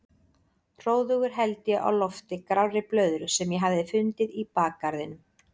Hróðugur held ég á lofti grárri blöðru sem ég hafði fundið í bakgarðinum.